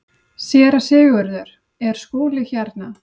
SÉRA SIGURÐUR: Er Skúli hérna?